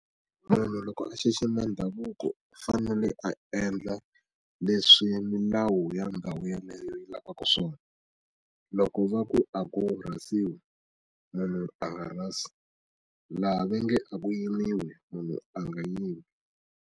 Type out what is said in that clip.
Munhu loko a xixima ndhavuko u fanele a endla leswi milawu ya ndhawu yeleyo yi lavaka swona loko va ku a ku rhasiwi munhu a nga rhasi laha va nge a ku yimiwi munhu a nga yimi.